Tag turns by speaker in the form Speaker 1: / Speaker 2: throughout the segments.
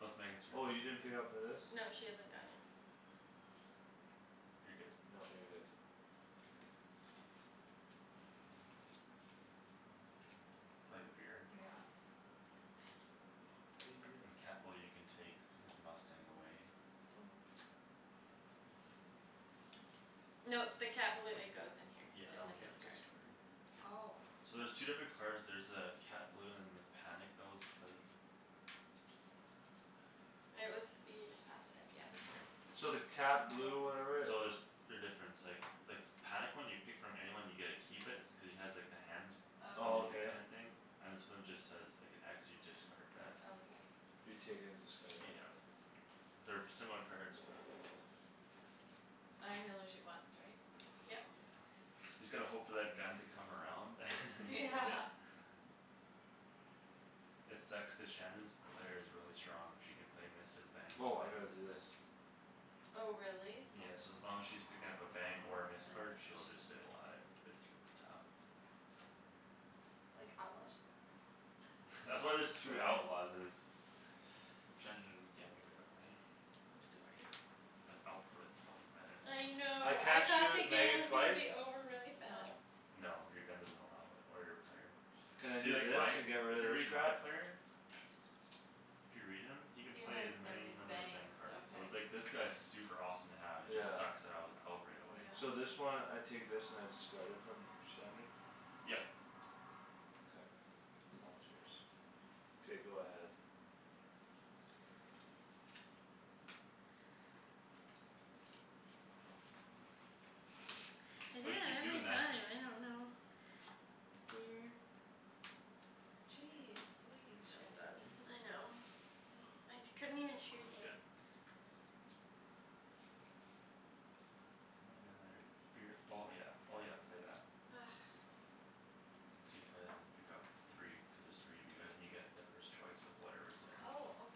Speaker 1: No, it's Megan's turn.
Speaker 2: Oh, you didn't pick up for this?
Speaker 3: No, she hasn't gone yet.
Speaker 1: You're good.
Speaker 2: No, you're good.
Speaker 1: Play the beer.
Speaker 4: Yeah.
Speaker 3: Dang it.
Speaker 2: Why you do
Speaker 1: And Cat
Speaker 2: that?
Speaker 1: Balou, you can take his mustang away.
Speaker 4: Ooh. Yes, please.
Speaker 3: No, the Cat Balou, it goes in here.
Speaker 1: Yeah, that
Speaker 3: In
Speaker 1: one
Speaker 3: the
Speaker 1: you gotta
Speaker 3: discard.
Speaker 1: discard.
Speaker 4: Oh.
Speaker 1: So there's two different
Speaker 3: Yeah.
Speaker 1: cards, there's uh Cat Balou and the panic that was played. Where's the panic?
Speaker 3: It was, you just passed it, yeah.
Speaker 1: Right here.
Speaker 2: So the cat blue
Speaker 4: Oh.
Speaker 2: or whatever
Speaker 1: So there's, they're different; it's like the panic one, you pick from anyone and you get to keep it, cuz he has like the hand
Speaker 2: Oh,
Speaker 1: emoji
Speaker 2: okay.
Speaker 1: kinda
Speaker 4: Okay.
Speaker 1: thing? And this one just says, like, an x, you discard
Speaker 4: What?
Speaker 1: that.
Speaker 4: Okay.
Speaker 2: You take it and discard it, yeah
Speaker 1: Yeah.
Speaker 2: okay.
Speaker 1: They're similar cards, but.
Speaker 4: I can only shoot once, right?
Speaker 1: Yeah.
Speaker 3: Yep.
Speaker 1: You just gotta hope for that gun to come around and then you
Speaker 4: Yeah.
Speaker 1: get it. It sucks cuz Shandryn's player is really strong, she can play missed as bangs and
Speaker 2: Woah, I
Speaker 1: bangs
Speaker 2: gotta
Speaker 1: as
Speaker 2: do this.
Speaker 1: missed.
Speaker 4: Oh, really?
Speaker 1: Yeah,
Speaker 2: Mm.
Speaker 1: so as long as she's picking up a bang or a
Speaker 2: Mm.
Speaker 1: missed card,
Speaker 4: Miss.
Speaker 1: she'll just stay alive. It's r- tough.
Speaker 4: Like, outlaw should be like
Speaker 1: That's
Speaker 4: that.
Speaker 1: why there's two
Speaker 2: Bang.
Speaker 1: outlaws and it's, Shandryn get me right away.
Speaker 3: I'm sorry.
Speaker 1: I've been out for like, twenty
Speaker 3: I
Speaker 1: minutes.
Speaker 2: I
Speaker 3: know, I
Speaker 2: can't
Speaker 3: thought the
Speaker 2: shoot
Speaker 3: game
Speaker 2: Megan
Speaker 3: was gonna
Speaker 2: twice?
Speaker 3: be over really
Speaker 4: No.
Speaker 3: fast.
Speaker 1: No, your gun doesn't allow it. Or your player.
Speaker 2: Can I
Speaker 1: See,
Speaker 2: do
Speaker 1: like,
Speaker 2: this
Speaker 1: my,
Speaker 2: and get
Speaker 1: if
Speaker 2: rid
Speaker 1: you
Speaker 2: of this
Speaker 1: read my
Speaker 2: crap?
Speaker 1: player If you read him, he can
Speaker 4: You
Speaker 1: play
Speaker 4: has
Speaker 1: as many
Speaker 4: many
Speaker 1: number of bang
Speaker 4: bangs.
Speaker 1: cards, so,
Speaker 4: Okay.
Speaker 1: like, this guy's super awesome to have; it
Speaker 2: Yeah.
Speaker 1: just sucks that I was out right away.
Speaker 4: Yeah.
Speaker 2: So this one, I take this and I discard it from Shandryn?
Speaker 1: Yep.
Speaker 2: K. Now it's yours. K, go ahead.
Speaker 1: Nope.
Speaker 3: I do
Speaker 1: Why do you
Speaker 3: that
Speaker 1: keep
Speaker 3: every
Speaker 1: doing that?
Speaker 3: time, I don't know. Weird.
Speaker 4: Jeez, believe,
Speaker 3: I'm
Speaker 4: Shandryn.
Speaker 3: done. I know. I t- couldn't even shoot
Speaker 1: Y-
Speaker 3: you.
Speaker 1: good. And I got another beer, oh yeah, oh yeah, play that.
Speaker 3: Argh.
Speaker 1: So you play that and you pick up three, cuz there's three of you guys and you get the first choice of whatever's there.
Speaker 4: Oh, okay.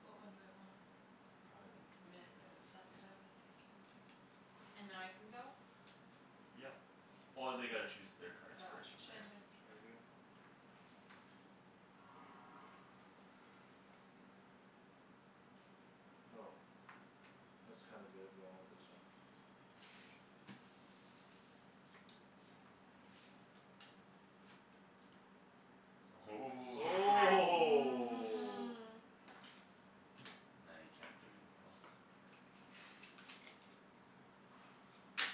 Speaker 4: What one do I want?
Speaker 1: Probably the
Speaker 4: Miss,
Speaker 1: missed,
Speaker 4: that's
Speaker 1: yeah.
Speaker 4: what I was thinking. And now I can go?
Speaker 1: Yep. Oh, they gotta choose their cards
Speaker 4: Oh.
Speaker 1: first from there.
Speaker 4: Shandryn.
Speaker 2: Target. Go. That's kinda good but I want this one.
Speaker 1: Ooh
Speaker 4: Yes.
Speaker 2: Oh!
Speaker 1: Now you can't do anything else.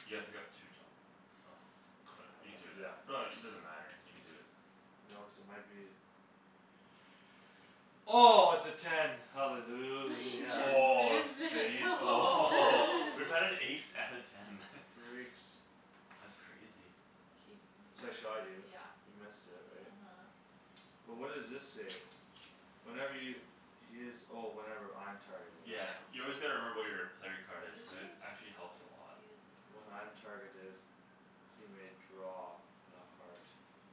Speaker 1: You gotta pick up two, Tom, oh. Good,
Speaker 2: Crap, I
Speaker 1: you
Speaker 2: have to
Speaker 1: do
Speaker 2: do that
Speaker 1: that. No,
Speaker 2: first.
Speaker 1: it, it doesn't matter; you can do it.
Speaker 2: No, cuz it might be Oh, it's a ten,
Speaker 3: We
Speaker 2: hallelujah.
Speaker 1: Oh, a
Speaker 3: just missed it!
Speaker 1: spade? Oh.
Speaker 4: Woah!
Speaker 1: We've had an ace and a ten.
Speaker 2: Freaks.
Speaker 1: That's crazy.
Speaker 2: So
Speaker 4: K,
Speaker 2: I shot you,
Speaker 4: yeah,
Speaker 2: you missed it, right?
Speaker 4: uh-huh.
Speaker 2: But what does this say? Whenever y- he is, oh, whenever I'm targeted.
Speaker 1: Yeah,
Speaker 3: Yeah.
Speaker 1: you always gotta remember what your player
Speaker 4: What
Speaker 1: card is,
Speaker 4: is
Speaker 1: cuz it
Speaker 4: yours?
Speaker 1: actually helps a lot.
Speaker 4: He is
Speaker 2: When I'm
Speaker 4: a target of
Speaker 2: targeted He may draw on a heart.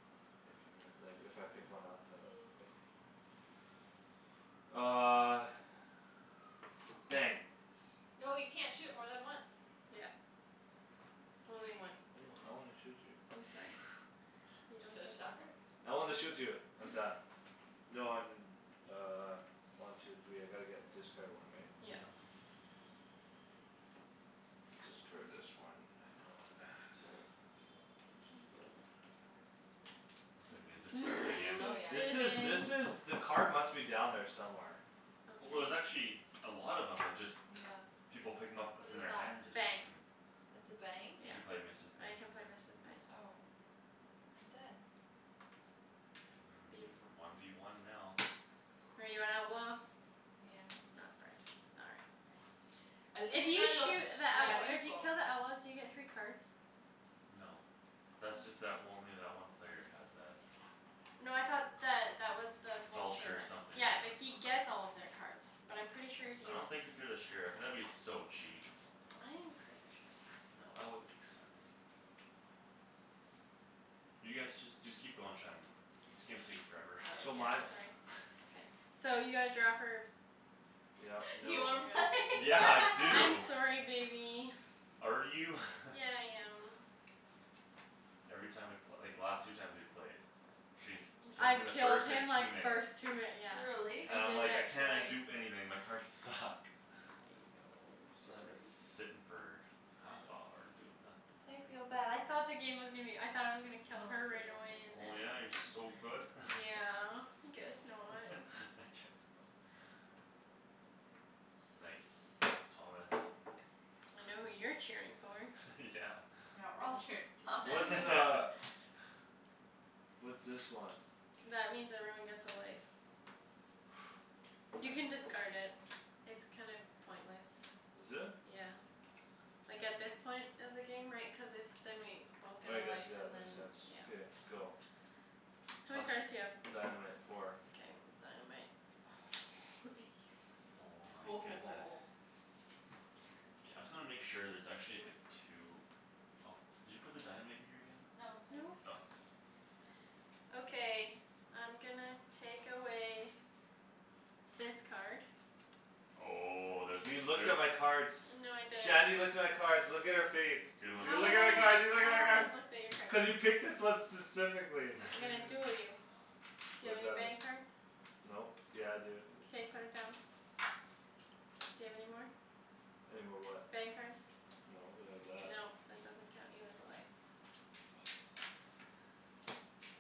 Speaker 2: If you mi- like, if I pick one up, then.
Speaker 4: Okay.
Speaker 2: Uh Bang.
Speaker 4: No, you can't shoot more than once.
Speaker 3: Yeah. Only one
Speaker 2: I
Speaker 3: per
Speaker 2: don't, I wanna
Speaker 3: turn.
Speaker 2: shoot you.
Speaker 3: I'm sorry. You don't
Speaker 4: So,
Speaker 3: get to.
Speaker 4: shot her.
Speaker 2: I wanna shoot you. I'm done. No, I'm uh, one, two, three, I gotta get, discard one, right?
Speaker 3: Yeah.
Speaker 1: Yeah.
Speaker 2: Discard this one, I know it's bad.
Speaker 1: I thought you were gonna discard it again.
Speaker 4: Oh, yeah,
Speaker 2: This is, this is,
Speaker 3: Didn't!
Speaker 4: yeah
Speaker 2: the card must be down there somewhere.
Speaker 1: Well, there's
Speaker 3: Okay.
Speaker 1: actually a lot of 'em, it's just
Speaker 4: Yeah.
Speaker 1: people pick 'em up,
Speaker 4: What
Speaker 1: it's in
Speaker 4: is
Speaker 1: their
Speaker 4: that?
Speaker 1: hands or
Speaker 3: Bang.
Speaker 1: something.
Speaker 4: It's a bang?
Speaker 1: She can
Speaker 3: Yeah.
Speaker 1: play missed as
Speaker 3: I
Speaker 1: bangs
Speaker 3: can
Speaker 1: and
Speaker 3: play
Speaker 1: bangs
Speaker 3: missed
Speaker 1: as
Speaker 3: as bangs.
Speaker 1: missed.
Speaker 4: Oh. I'm dead.
Speaker 1: Mm,
Speaker 3: Beautiful.
Speaker 1: one v one now.
Speaker 3: Are you an outlaw?
Speaker 4: Yeah.
Speaker 3: Not surprised. All right. If you
Speaker 4: los
Speaker 3: shoot the outlaw, if you
Speaker 4: sheriffo.
Speaker 3: kill the outlaws, do you get three cards?
Speaker 1: No.
Speaker 3: How
Speaker 1: Thats
Speaker 3: is
Speaker 1: if that w-
Speaker 3: it?
Speaker 1: only that one player has that.
Speaker 3: No, I thought that that was the
Speaker 1: Vulture
Speaker 3: vulture.
Speaker 1: something,
Speaker 3: Yeah,
Speaker 1: yeah.
Speaker 3: but he gets all of their cards. But I'm pretty sure if
Speaker 1: I
Speaker 3: you
Speaker 1: don't think if you're the sheriff, that would be so cheap.
Speaker 3: I am pretty sure.
Speaker 1: No, that wouldn't make sense. You guys, just, just keep going, Shan. This game's taking forever.
Speaker 3: Oh,
Speaker 2: So
Speaker 3: yeah,
Speaker 2: my
Speaker 3: sorry, okay. So you gotta draw for?
Speaker 2: Yep,
Speaker 4: You
Speaker 3: No,
Speaker 2: nope.
Speaker 4: wanna play?
Speaker 3: right?
Speaker 1: Yeah. I
Speaker 3: I'm
Speaker 1: do!
Speaker 3: sorry, baby.
Speaker 1: Are you?
Speaker 3: Yeah, I am.
Speaker 1: Every time we pl- like, the last two times we played She's t- kills me in
Speaker 3: I've
Speaker 1: the
Speaker 3: killed
Speaker 1: first, like,
Speaker 3: him
Speaker 1: two
Speaker 3: like
Speaker 1: minutes.
Speaker 3: first two yeah.
Speaker 4: Really?
Speaker 1: And
Speaker 3: I
Speaker 1: I'm
Speaker 3: did
Speaker 1: like, "I
Speaker 3: that
Speaker 1: cannot
Speaker 3: twice.
Speaker 1: do anything; my cards suck."
Speaker 3: I know, I'm sorry.
Speaker 1: sittin' for half
Speaker 3: I
Speaker 1: hour, doing
Speaker 3: I
Speaker 1: nothing.
Speaker 3: feel bad; I thought the game was gonna be o- I thought I was gonna kill her
Speaker 4: for
Speaker 3: right away
Speaker 4: dresses.
Speaker 3: and then
Speaker 1: Oh,
Speaker 3: I
Speaker 1: yeah, you're
Speaker 3: was
Speaker 1: so
Speaker 3: g-
Speaker 1: good?
Speaker 3: Yeah, guess not.
Speaker 1: I guess not. Nice. Nice, Thomas.
Speaker 3: I know who you're cheering for.
Speaker 1: Yeah.
Speaker 4: Yeah, we're all cheering for Thomas.
Speaker 2: What's uh What's this one?
Speaker 3: That means everyone gets a life. You can discard it. It's kind of pointless.
Speaker 2: Is it?
Speaker 3: Yeah. Like, at this point of the game, right, cuz if Then we both get
Speaker 2: I
Speaker 3: a
Speaker 2: guess,
Speaker 3: life
Speaker 2: yeah, that
Speaker 3: and then,
Speaker 2: makes sense.
Speaker 3: yeah.
Speaker 2: Beer, go.
Speaker 3: How many
Speaker 1: Plus
Speaker 3: cards do you
Speaker 1: your
Speaker 3: have?
Speaker 2: Dynamite, four.
Speaker 3: Mkay, dynamite. Oh, ace.
Speaker 1: Oh my goodness.
Speaker 4: Woah.
Speaker 1: K, I'm just gonna make sure there's actually, like, a two. Oh, did you put the dynamite in here again?
Speaker 4: No, it's right
Speaker 3: No.
Speaker 1: Oh, k.
Speaker 4: here.
Speaker 3: Okay, I'm gonna take away this card.
Speaker 1: Oh, there's a
Speaker 2: You
Speaker 1: cl-
Speaker 2: looked
Speaker 1: there
Speaker 2: at my cards.
Speaker 3: No, I didn't.
Speaker 2: Shandryn looked at my cards; look at her face.
Speaker 1: Good one,
Speaker 2: You
Speaker 3: How
Speaker 2: look
Speaker 3: would
Speaker 2: at
Speaker 3: I,
Speaker 2: my card,
Speaker 1: Shan.
Speaker 2: you look
Speaker 3: how
Speaker 2: at my
Speaker 3: would I have
Speaker 2: cards!
Speaker 3: looked at your cards?
Speaker 2: Cuz you picked this one specifically
Speaker 3: I'm gonna duel you. Do
Speaker 2: What
Speaker 3: you have
Speaker 2: does
Speaker 3: any
Speaker 2: that mean?
Speaker 3: bang cards?
Speaker 2: Nope. Yeah I do
Speaker 3: K, put it down. Do you have any more?
Speaker 2: Any more what?
Speaker 3: Bang cards.
Speaker 2: No, but I have that.
Speaker 3: No, that doesn't count; you lose a life.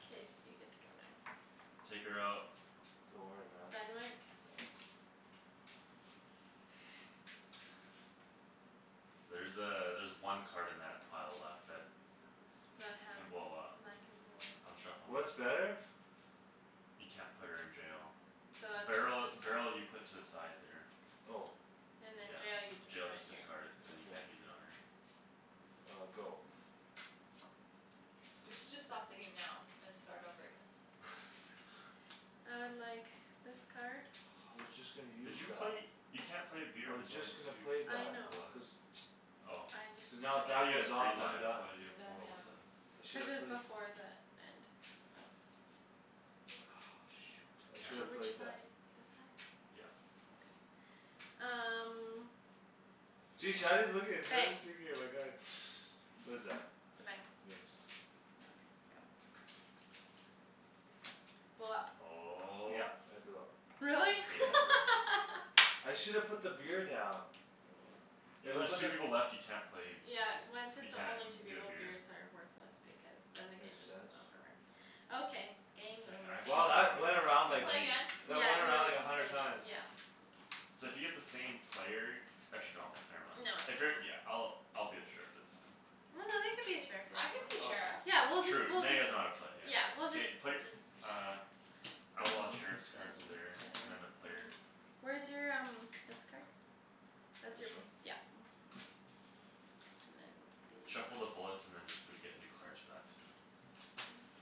Speaker 3: K, you get to go now.
Speaker 1: Take her out.
Speaker 2: Don't worry, man.
Speaker 3: Dynamite?
Speaker 2: No.
Speaker 1: There's uh, there's one card in that pile left that
Speaker 3: That has
Speaker 1: can
Speaker 3: d-
Speaker 1: blow up.
Speaker 3: that can blow
Speaker 1: I'm
Speaker 3: up.
Speaker 1: shuffling
Speaker 2: What's
Speaker 1: this.
Speaker 2: better?
Speaker 1: You can't put her in jail.
Speaker 3: So that's
Speaker 1: Barrel,
Speaker 3: just discard.
Speaker 1: barrel, you put to the side there.
Speaker 2: Oh.
Speaker 3: And then jail you
Speaker 1: Yeah.
Speaker 3: just
Speaker 1: Jail,
Speaker 3: put
Speaker 1: just
Speaker 3: here.
Speaker 1: discard it, cuz you
Speaker 2: Okay.
Speaker 1: can't use it on her.
Speaker 2: Uh, go.
Speaker 4: We should just stop the game now and start over again.
Speaker 3: I would like this card.
Speaker 2: I was just gonna
Speaker 1: Did
Speaker 2: use
Speaker 1: you
Speaker 2: that.
Speaker 1: play? You can't play a beer
Speaker 2: I
Speaker 1: when
Speaker 2: was
Speaker 1: there's only
Speaker 2: just gonna
Speaker 1: two
Speaker 2: play
Speaker 3: I
Speaker 2: that.
Speaker 3: know.
Speaker 1: people left.
Speaker 2: Cuz
Speaker 1: Oh.
Speaker 3: I just
Speaker 2: Cuz now if
Speaker 1: I
Speaker 2: that
Speaker 1: thought
Speaker 3: took
Speaker 1: you had
Speaker 2: goes
Speaker 1: three
Speaker 2: off, then I'm
Speaker 1: lives,
Speaker 2: done.
Speaker 1: why do you
Speaker 4: You're
Speaker 1: have
Speaker 4: done,
Speaker 1: four all of
Speaker 4: yeah.
Speaker 1: a
Speaker 3: Mm.
Speaker 1: sudden?
Speaker 2: I should
Speaker 3: Cuz it
Speaker 2: have
Speaker 3: was
Speaker 2: played
Speaker 3: before the end of
Speaker 2: I shoulda
Speaker 3: Which
Speaker 2: played that.
Speaker 3: side, this side?
Speaker 1: Yeah.
Speaker 3: Okay. Um
Speaker 2: See, Shandryn's looking,
Speaker 3: Bang.
Speaker 2: Shandryn's peeking at my cards. What is that?
Speaker 3: It's a bang.
Speaker 2: Mixed.
Speaker 3: Okay, go. Blow up.
Speaker 1: Oh.
Speaker 2: Yep, I blew up.
Speaker 3: Really?
Speaker 1: Game
Speaker 2: Yeah.
Speaker 1: over.
Speaker 2: I shoulda put the beer down.
Speaker 1: Yeah,
Speaker 2: If
Speaker 1: when
Speaker 2: I
Speaker 1: there's
Speaker 2: just
Speaker 1: two people left, you can't play b-
Speaker 3: Yeah, when, since
Speaker 1: You
Speaker 3: there
Speaker 1: can't
Speaker 3: only two
Speaker 1: d- do a
Speaker 3: people,
Speaker 1: beer.
Speaker 3: beers are worthless because then the game
Speaker 2: Makes
Speaker 3: just
Speaker 2: sense.
Speaker 3: on forever. Okay,
Speaker 1: K,
Speaker 3: game
Speaker 1: I
Speaker 3: over.
Speaker 1: actually
Speaker 2: Wow,
Speaker 1: wanna
Speaker 2: that went around,
Speaker 4: Can we
Speaker 2: like,
Speaker 4: play
Speaker 1: play.
Speaker 4: again?
Speaker 2: that
Speaker 3: Yeah,
Speaker 2: went around,
Speaker 3: we'll, we
Speaker 2: like, a
Speaker 3: can play
Speaker 2: hundred
Speaker 3: again,
Speaker 2: times.
Speaker 3: yeah.
Speaker 1: So if you get the same player Actually no, never mind.
Speaker 3: No, it's
Speaker 1: If you're, yeah,
Speaker 3: fine.
Speaker 1: I'll, I'll be the sheriff this time.
Speaker 3: Well, no, they could be a sheriff
Speaker 4: I could be a
Speaker 1: Okay.
Speaker 4: sheriff.
Speaker 3: Yeah, we'll just,
Speaker 1: Sure, true.
Speaker 3: we'll
Speaker 1: Now you
Speaker 3: just
Speaker 1: guys know how to play, yeah.
Speaker 3: Yeah, we'll just
Speaker 1: K, play,
Speaker 3: d-
Speaker 1: uh Outlaws, sheriffs cards there, and then the player
Speaker 3: Where's your um, this card? That's
Speaker 2: This
Speaker 3: your,
Speaker 2: one?
Speaker 3: yeah. And then
Speaker 1: Shuffle the
Speaker 3: these.
Speaker 1: bullets and then just, we get new cards for that too.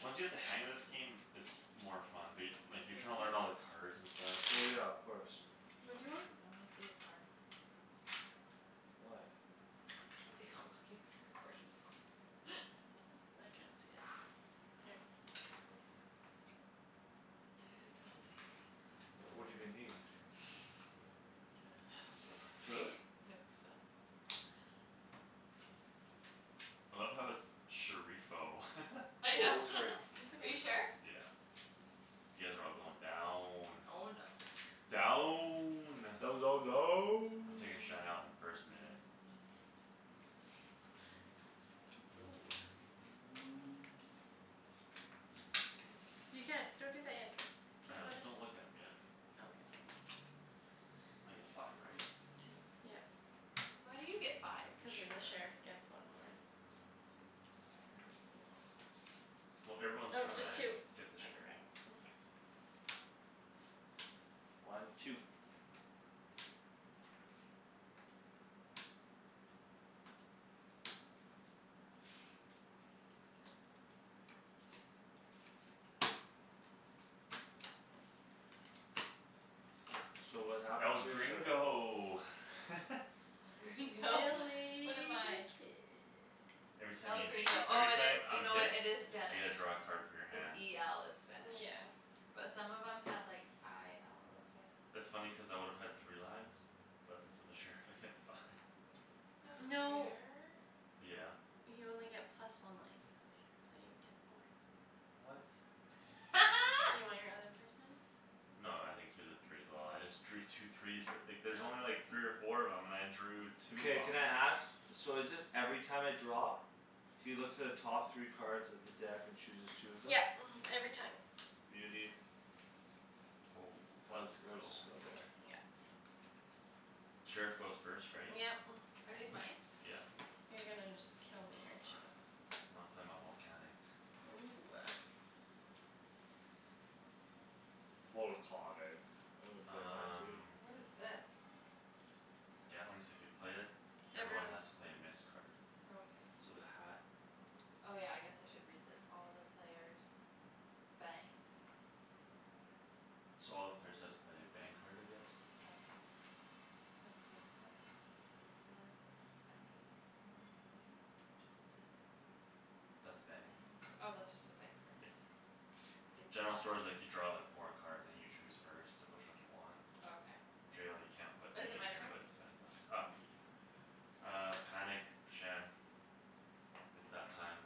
Speaker 1: Once you get the hang of this game, it's more fun. But y- like, you're trying to learn all the cards and stuff.
Speaker 2: Well, yeah, of course.
Speaker 3: What do you want?
Speaker 4: I wanna see his arm.
Speaker 2: Why?
Speaker 4: To see how long you've been recording for.
Speaker 3: I can't see it here.
Speaker 4: Two twenty.
Speaker 2: What do they need?
Speaker 4: Two
Speaker 2: Really?
Speaker 4: and a half.
Speaker 1: I love how it's "sheriffo."
Speaker 4: I
Speaker 2: Wait,
Speaker 4: know.
Speaker 2: what's her?
Speaker 3: It's
Speaker 4: Are you
Speaker 3: okay.
Speaker 4: sheriff?
Speaker 1: Yeah. You guys are all going down.
Speaker 4: Oh, no.
Speaker 1: Down!
Speaker 2: Down, down,
Speaker 1: I'm
Speaker 2: down.
Speaker 1: taking Shan out in the first minute.
Speaker 3: Ooh. You can't, don't drink that yet.
Speaker 1: I
Speaker 3: Cuz
Speaker 1: know,
Speaker 3: what if
Speaker 1: don't look at 'em yet.
Speaker 3: Okay.
Speaker 1: I get five, right?
Speaker 3: Two, yep.
Speaker 4: Why do you get five?
Speaker 1: The
Speaker 3: Cuz the sheriff
Speaker 1: sheriff.
Speaker 3: gets one more.
Speaker 4: No fair.
Speaker 1: Well, everyone's
Speaker 3: Oh,
Speaker 1: trying
Speaker 3: just two.
Speaker 1: to get the
Speaker 3: That's
Speaker 1: sheriff.
Speaker 3: better.
Speaker 2: One, two. So what happens
Speaker 1: El
Speaker 2: here? Sorry.
Speaker 1: gringo!
Speaker 4: El Gringo. What
Speaker 3: Willy
Speaker 4: am
Speaker 3: the
Speaker 4: I?
Speaker 3: kid.
Speaker 1: Every time
Speaker 4: El
Speaker 1: you shoo-
Speaker 4: Gringo, oh
Speaker 1: every
Speaker 4: it
Speaker 1: time
Speaker 4: i- you
Speaker 1: I'm
Speaker 4: know what,
Speaker 1: hit
Speaker 4: it is
Speaker 1: I
Speaker 3: Yeah.
Speaker 4: Spanish.
Speaker 1: get to draw a card from your
Speaker 4: Cuz
Speaker 1: hand.
Speaker 4: e l is spanish.
Speaker 3: Yeah.
Speaker 4: But some of them had, like, i l,
Speaker 1: That's
Speaker 4: that's why I thought
Speaker 1: funny cuz I would have had three lives. But since I'm the sheriff, I get five.
Speaker 4: No
Speaker 3: No.
Speaker 4: fair.
Speaker 1: Yeah.
Speaker 3: You only get plus one life as a sheriff, so you get four.
Speaker 1: What?
Speaker 3: Do you want your other person?
Speaker 1: No, I think he was a three as well; I just drew two threes f- like, there's only like
Speaker 3: Oh.
Speaker 1: three or four of 'em and I drew two of
Speaker 2: Mkay,
Speaker 1: 'em.
Speaker 2: can I ask? So is this every time I draw? He looks at the top three cards of the deck and chooses two of them?
Speaker 3: Yep, mhm, every time.
Speaker 2: Beauty.
Speaker 1: Oh,
Speaker 2: How is
Speaker 1: let's
Speaker 2: it, where does
Speaker 1: go.
Speaker 2: this go there?
Speaker 3: Yep.
Speaker 1: Sheriff goes first, right?
Speaker 3: Yep.
Speaker 4: Are these mine?
Speaker 1: Yeah.
Speaker 3: You're gonna just kill me, aren't you?
Speaker 1: When I play my volcanic.
Speaker 3: Ooh.
Speaker 2: Volcahnic. I wanna play mine too.
Speaker 1: Um
Speaker 4: What is this?
Speaker 1: Gatling, so if you play it, everyone
Speaker 3: Everyone.
Speaker 1: has to play a missed card.
Speaker 4: Okay.
Speaker 1: So the hat
Speaker 4: Oh, yeah, I guess I should read this. All the players bang.
Speaker 1: So all the players have to play a bang card, I guess?
Speaker 4: Okay. What's this one? any one player of reachable distance.
Speaker 1: That's a bang
Speaker 4: Bang. Oh,
Speaker 1: card.
Speaker 4: that's just a bang card.
Speaker 1: Yeah. General store's like, you draw the four cards and you choose first of which one you want.
Speaker 4: Okay.
Speaker 1: Jail, you can't put me
Speaker 4: Is it
Speaker 1: in
Speaker 4: my
Speaker 1: there
Speaker 4: turn?
Speaker 1: but you can put anything else. Uh, me.
Speaker 4: Okay.
Speaker 1: Uh, panic, Shan. It's that time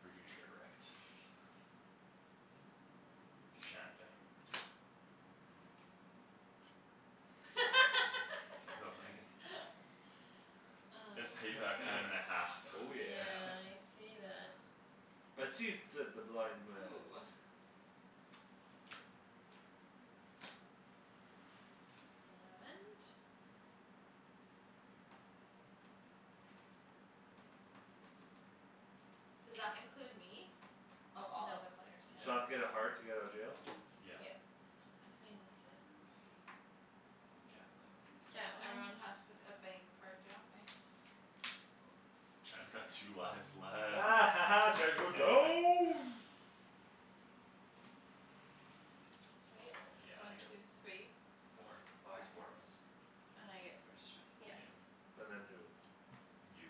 Speaker 1: For you to get wrecked. Shan, bang. Get wrecked. K, go, Megan. It's
Speaker 4: Mm.
Speaker 1: payback time and a half.
Speaker 2: Oh, yeah.
Speaker 3: Yeah, I see that.
Speaker 2: I sees, said the blind man.
Speaker 4: Ooh. And Does that include me? Oh, all other
Speaker 3: Nope.
Speaker 4: players,
Speaker 2: So I have to
Speaker 1: Yeah.
Speaker 4: no.
Speaker 2: get a heart to get out of jail?
Speaker 1: Yeah.
Speaker 3: Yep.
Speaker 4: I'm playing this one.
Speaker 1: Gatling.
Speaker 3: Gatling.
Speaker 4: Everyone has to put a bang card down, right?
Speaker 1: Shan's got two lives left.
Speaker 2: Shan's going down.
Speaker 4: Right?
Speaker 1: Oh, yeah, I
Speaker 4: One,
Speaker 1: get
Speaker 4: two, three.
Speaker 1: Four.
Speaker 4: Four.
Speaker 1: There's four of us.
Speaker 4: And I get first choice,
Speaker 3: Yep.
Speaker 1: Yeah.
Speaker 4: right?
Speaker 2: And then who?
Speaker 1: You.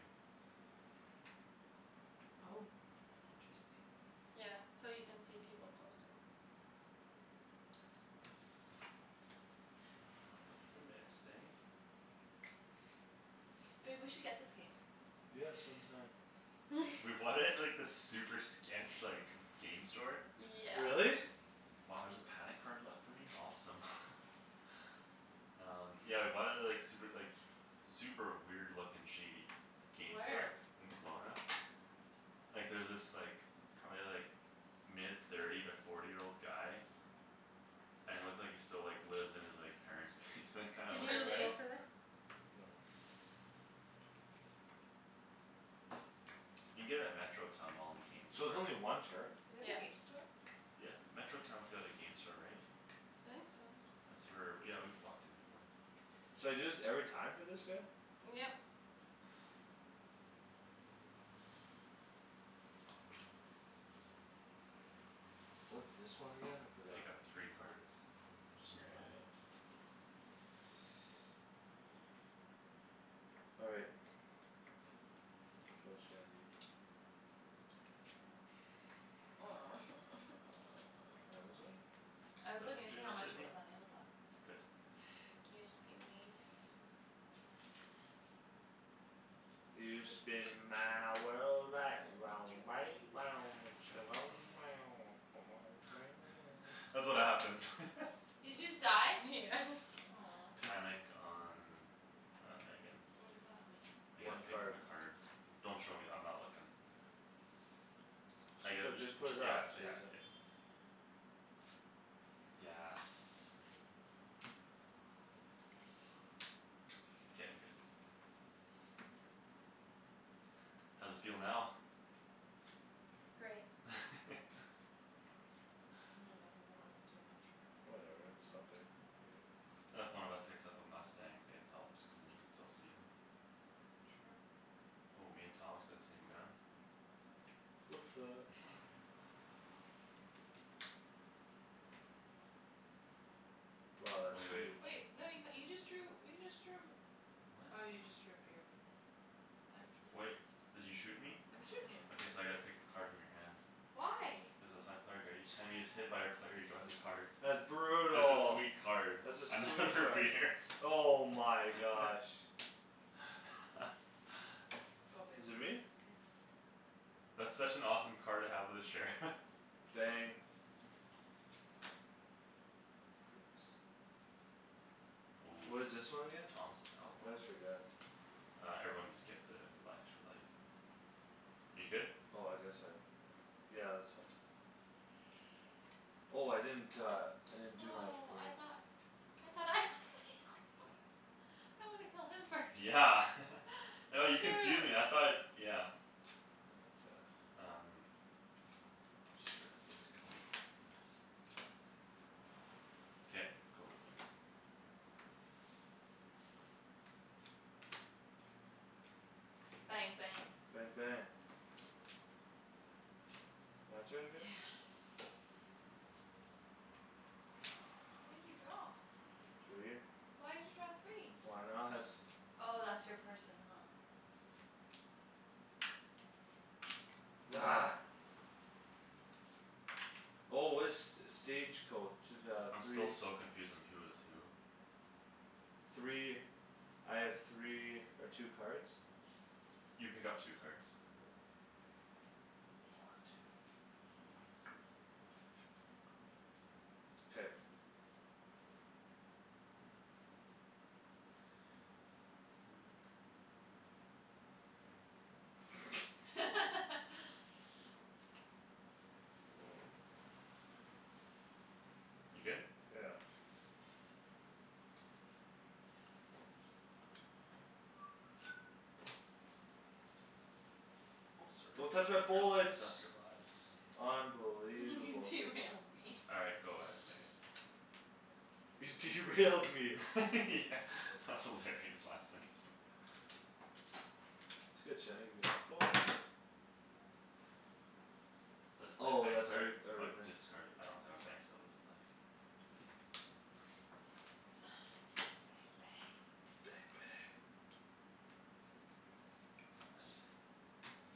Speaker 4: Oh. That's interesting.
Speaker 3: Yeah. So you can see people closer.
Speaker 1: Not with the missed, eh?
Speaker 4: Babe, we should get this game.
Speaker 2: Yeah, some time.
Speaker 1: We bought it at, like, this super sketch, like, g- game store.
Speaker 3: Yeah.
Speaker 2: Really?
Speaker 1: Wow, there's a panic card left for me? Awesome. Um, yeah, we bought it at the, like, super, like, super weird looking shady game store.
Speaker 4: Where?
Speaker 1: In Kelowna.
Speaker 4: Oops.
Speaker 1: Like, there was this, like, probably like mid thirty to forty year old guy And it looked like he still, like, lives in his, like, parents' basement kinda
Speaker 3: Did
Speaker 1: looking
Speaker 3: you
Speaker 1: guy.
Speaker 3: go
Speaker 4: Really?
Speaker 3: for this?
Speaker 2: No.
Speaker 1: You can get it at Metro Town mall in the game
Speaker 2: So it's
Speaker 1: store.
Speaker 2: only one turn?
Speaker 4: They have a
Speaker 3: Yeah.
Speaker 4: game store?
Speaker 1: Yeah. Metro Town's got a game store, right?
Speaker 3: I think so.
Speaker 1: That's where, yeah, we've walked in there before.
Speaker 2: So I do this every time for this guy?
Speaker 3: Yep.
Speaker 2: What's this one again? I forgot.
Speaker 1: Pick up three cards. Just in
Speaker 2: Yeah,
Speaker 1: your hand.
Speaker 2: that's All right. Go Shandie. Amazon?
Speaker 4: I
Speaker 1: It's
Speaker 4: was
Speaker 1: not in
Speaker 4: looking to see how
Speaker 1: jail,
Speaker 4: much it
Speaker 1: biggie.
Speaker 4: was on Amazon.
Speaker 1: Good.
Speaker 3: Yes, be mean.
Speaker 2: You spin my
Speaker 1: Shandryn.
Speaker 2: world right round,
Speaker 3: I want
Speaker 2: right
Speaker 3: to
Speaker 2: round, when
Speaker 1: Shan That's what happens.
Speaker 4: Did you just die?
Speaker 3: Yeah.
Speaker 4: Aw.
Speaker 1: Panic on, uh, Megan.
Speaker 4: What does that mean?
Speaker 1: I get
Speaker 2: One
Speaker 1: to pick from
Speaker 2: card.
Speaker 1: a card. Don't show me; I'm not looking. I
Speaker 2: Just
Speaker 1: get
Speaker 2: put,
Speaker 1: just
Speaker 2: just put
Speaker 1: t-
Speaker 2: it
Speaker 1: yeah,
Speaker 2: back, so you're
Speaker 1: yeah,
Speaker 2: done.
Speaker 1: yeah. Yes. K, I'm good. How's it feel now?
Speaker 3: Great.
Speaker 4: I mean, that doesn't really do much for me.
Speaker 2: Whatever, it's something. I guess.
Speaker 1: If one of us picks up a mustang, it helps cuz then you can still see him.
Speaker 4: True.
Speaker 1: Oh, me and Thomas got the same gun.
Speaker 2: What's up! Wow, that's
Speaker 1: Wai- wait.
Speaker 2: huge.
Speaker 4: Wait, no, you h- you just drew, you just drew Oh, you just drew a
Speaker 1: What?
Speaker 4: beer from me, never mind. I thought you drew
Speaker 1: Wait,
Speaker 4: this.
Speaker 1: did you shoot me?
Speaker 4: I'm shootin' you.
Speaker 1: Okay, so I gotta pick a card from your hand.
Speaker 4: Why?
Speaker 1: Cuz that's my player card. Each time he is hit by a player, he draws a card.
Speaker 2: That's
Speaker 1: That's a
Speaker 2: brutal.
Speaker 1: sweet card.
Speaker 2: That's a sweet
Speaker 1: Another
Speaker 2: card.
Speaker 1: beer.
Speaker 2: Oh my gosh.
Speaker 4: Go,
Speaker 2: Is it
Speaker 4: babe.
Speaker 2: me?
Speaker 4: Yeah.
Speaker 1: That's such an awesome card to have with a sheriff.
Speaker 2: Bang. Freaks.
Speaker 1: Ooh,
Speaker 2: What is this one
Speaker 1: so
Speaker 2: again?
Speaker 1: Thomas is
Speaker 2: I
Speaker 1: outlaw?
Speaker 2: always forget.
Speaker 1: Uh, everyone just gets a li- extra life. Are you good?
Speaker 2: Oh, I guess I have, yeah. Yeah, that's fine. Oh, I didn't uh, I didn't do that for
Speaker 4: Oh, I
Speaker 2: you.
Speaker 4: thought I thought I was the outlaw. I wanna kill him first.
Speaker 1: Yeah. Oh, you confused me, I
Speaker 4: Shoot.
Speaker 1: thought, yeah. Um. I'll just get rid of this gun, yes. K, go, Megan.
Speaker 4: Bang, bang.
Speaker 2: Bang, bang. My turn
Speaker 4: Yeah.
Speaker 2: again?
Speaker 4: How many did you draw?
Speaker 2: Three.
Speaker 4: Why'd you draw three?
Speaker 2: Why not?
Speaker 4: Oh, that's your person, huh?
Speaker 2: Argh. Oh, what is st- stage coach, the
Speaker 1: I'm still
Speaker 2: three
Speaker 1: so confused on who is who.
Speaker 2: Three, I have three or two cards?
Speaker 1: You pick up two cards.
Speaker 2: One, two. K.
Speaker 1: You good?
Speaker 2: Yeah.
Speaker 1: Oh, sorry.
Speaker 2: Don't touch
Speaker 1: Messed
Speaker 2: my
Speaker 1: up your, messed up
Speaker 2: bullets.
Speaker 1: your lives.
Speaker 2: Unbelievable.
Speaker 4: Derailed me.
Speaker 1: All right, go ahead Megan.
Speaker 2: You derailed me.
Speaker 1: Yeah, that was hilarious last night.
Speaker 2: That's good Shandryn; give me that phone.
Speaker 1: So I have to play a
Speaker 2: Oh,
Speaker 1: bang
Speaker 2: that's every,
Speaker 1: card? Or
Speaker 2: every bang.
Speaker 1: discard a- I don't have a bang so I lose a life.
Speaker 4: Mkay. Yes. Bang, bang.
Speaker 2: Bang, bang.
Speaker 1: Nice.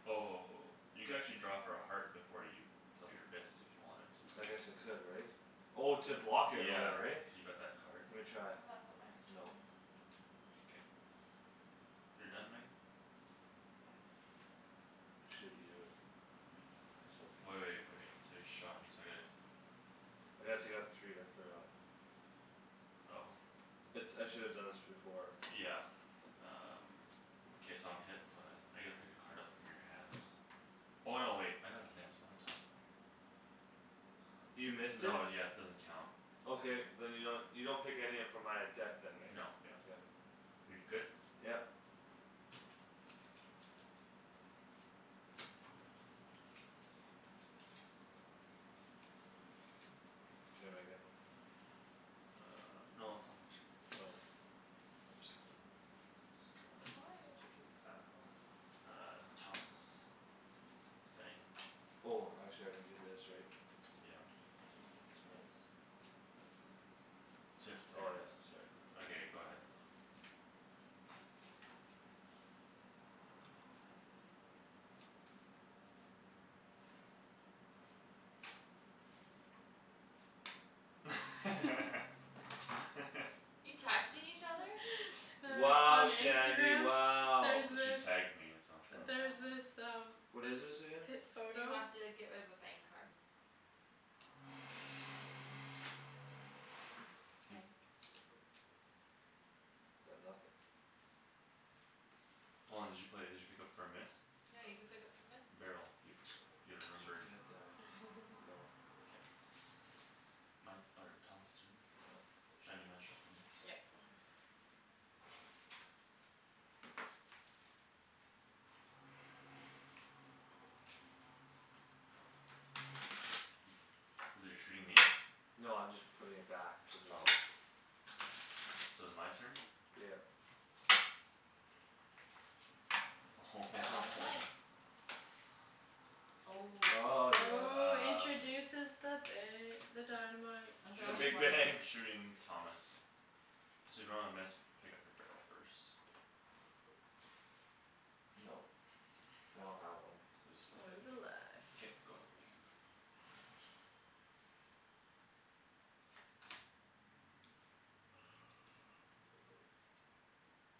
Speaker 1: Oh, you can actually draw for a heart before you play your missed if you wanted to.
Speaker 2: I guess I could, right? Oh, to block it or
Speaker 1: Yeah,
Speaker 2: whatever, right?
Speaker 1: cuz you got that card.
Speaker 2: Lemme try.
Speaker 4: Oh, that's what my person
Speaker 2: No.
Speaker 4: is.
Speaker 1: K. You're done, Megan?
Speaker 4: Yeah.
Speaker 2: I shoot you. I shall pick
Speaker 1: Wai- wait, wait,
Speaker 2: this
Speaker 1: so you shot me so I gotta
Speaker 2: I gotta take off three, I forgot.
Speaker 1: Oh.
Speaker 2: It's, I shoulda done this before.
Speaker 1: Yeah. Um K, so I'm hit, so I s- I get to pick a card up from your hand. Oh, no, wait, I got a miss, what am I talking about?
Speaker 2: You
Speaker 1: Um
Speaker 2: missed it?
Speaker 1: no, yes, it doesn't count.
Speaker 2: Okay, then you don't, you don't pick any up from my uh deck then, right?
Speaker 1: Nope, yep.
Speaker 2: Okay.
Speaker 1: You're good?
Speaker 2: Yep. K, Megan.
Speaker 1: Uh, no, it's still my turn.
Speaker 2: Oh.
Speaker 1: I'm just gonna get rid of Megan's gun.
Speaker 4: But why would you do
Speaker 1: I
Speaker 4: that?
Speaker 1: don't know. Uh, Thomas. Bang.
Speaker 2: Oh, actually I can do this, right?
Speaker 1: Yep.
Speaker 4: No, but that's
Speaker 2: So now
Speaker 4: yours.
Speaker 2: it's, that's five?
Speaker 1: So you have to play
Speaker 2: Oh
Speaker 1: your
Speaker 2: yeah,
Speaker 1: missed,
Speaker 2: sorry.
Speaker 1: yeah. Okay, go ahead.
Speaker 4: You texting each other?
Speaker 2: Wow,
Speaker 3: On
Speaker 2: Shandie,
Speaker 3: Instagram,
Speaker 2: wow.
Speaker 3: there's
Speaker 1: she
Speaker 3: this
Speaker 1: tagged me in something.
Speaker 3: there's
Speaker 2: Oh.
Speaker 3: this
Speaker 4: Oh.
Speaker 3: um
Speaker 2: What is
Speaker 3: this
Speaker 2: this again?
Speaker 3: pip
Speaker 4: You
Speaker 3: photo
Speaker 4: have to get rid of a bang card. K.
Speaker 2: Got nothing.
Speaker 1: Hold on, did you play, did you pick up for a miss?
Speaker 4: No, you can pick up for missed?
Speaker 1: Barrel. You p- you
Speaker 2: Just
Speaker 1: remember
Speaker 2: forget that. No.
Speaker 1: K. My, or, Thomas' turn?
Speaker 2: Yep.
Speaker 1: Shan, you mind shuffling those?
Speaker 3: Yep.
Speaker 1: You're shooting me?
Speaker 2: No, I'm just putting it back cuz I
Speaker 1: Oh.
Speaker 2: took
Speaker 1: So is my turn?
Speaker 2: Yep.
Speaker 4: Oh.
Speaker 2: Ah, yes.
Speaker 3: Oh,
Speaker 1: Um.
Speaker 3: introduces the ba- the dynamite.
Speaker 4: I
Speaker 2: The
Speaker 1: I'll
Speaker 4: draw only
Speaker 2: big
Speaker 1: shoot,
Speaker 4: one.
Speaker 2: bang.
Speaker 1: shooting Thomas. So if you don't have a miss, pick up for barrel first.
Speaker 2: Nope. I don't have one.
Speaker 1: Lose
Speaker 3: Lose a life.
Speaker 1: life. K, go ahead, Megan.